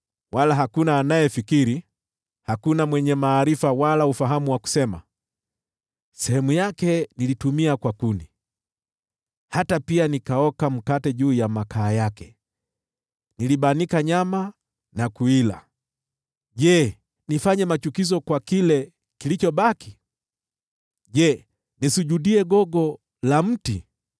Hakuna anayefikiri, hakuna mwenye maarifa wala ufahamu wa kusema, “Sehemu yake nilitumia kwa kuni; hata pia nilioka mkate juu ya makaa yake, nikabanika nyama na kuila. Je, nifanye machukizo kwa kile kilichobaki? Je, nisujudie gogo la mti?”